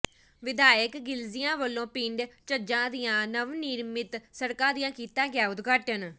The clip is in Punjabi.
ਵਿਧਾਇਕ ਗਿਲਜੀਆਂ ਵੱਲੋ ਪਿੰਡ ਝੱਜਾਂ ਦੀਆਂ ਨਵਨਿਰਮਿਤ ਸੜਕਾਂ ਦਾ ਕੀਤਾ ਗਿਆ ਉਦਘਾਟਨ